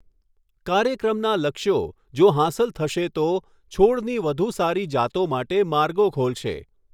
કાર્યક્રમના લક્ષ્યો, જો હાંસલ થશે તો, છોડની વધુ સારી જાતો માટે માર્ગો ખોલશે.